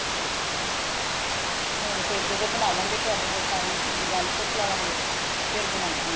ਹੋਣ ਤੇ ਜਦੋ ਬਣਵਾਗੇ ਤੁਹਾਡੇ ਕੋਲੋਂ ਸਾਰੀ ਗੱਲ ਪੁੱਛ ਲਾਵਾਂਗੇ ਫੇਰ ਬਨਾਵਾ ਗੇ